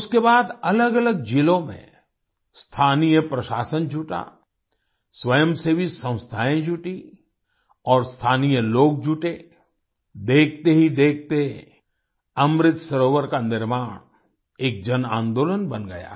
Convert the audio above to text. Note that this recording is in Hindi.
उसके बाद अलगअलग जिलों में स्थानीय प्रशासन जुटा स्वयं सेवी संस्थाएं जुटीं और स्थानीय लोग जुटे देखते ही देखते अमृत सरोवर का निर्माण एक जनआंदोलन बन गया है